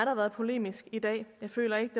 har været polemisk i dag jeg føler ikke